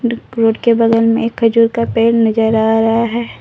Road के बगल में एक खजूर का पेड़ नजर आ रहा है।